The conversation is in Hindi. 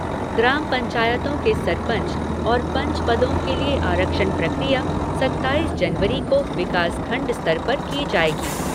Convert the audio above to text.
ग्राम पंचायतों के सरपंच और पंच पदों के लिए आरक्षण प्रक्रिया सत्ताईस जनवरी को विकासखण्ड स्तर पर की जायेगी।